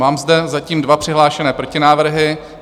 Mám zde zatím dva přihlášené protinávrhy.